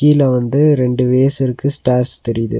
கீழ வந்து ரெண்டு வேஸ் இருக்கு ஸ்டேர்ஸ் தெரியுது.